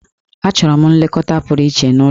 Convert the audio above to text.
Achọrọ m nlekọta pụrụ iche n'ụlọ.